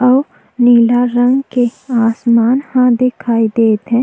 अउ नीला रंग के आसमान ह दिखाई देत हे।